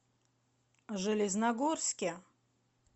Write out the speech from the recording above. железногорске